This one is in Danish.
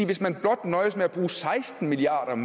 hvis man blot nøjes med at bruge seksten milliard